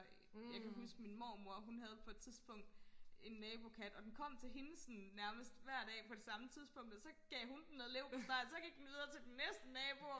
jeg kan huske min mormor hun havde på et tidspunkt en nabokat og den kom til hende sådan nærmest hver dag på det samme tidspunkt og så gav hun den noget leverpostej og så gik den videre til den næste nabo